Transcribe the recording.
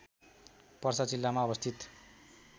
पर्सा जिल्लामा अवस्थित